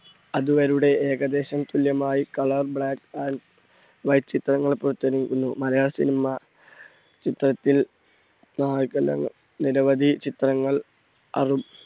അത് ഏകദേശം തുല്യമായി color, black and white ചിത്രങ്ങൾ പുറത്തിറങ്ങിയിരിക്കുന്നു. മലയാള cinema ചിത്രത്തിൽ നിരവധി ചിത്രങ്ങൾ